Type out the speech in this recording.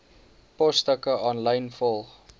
posstukke aanlyn volg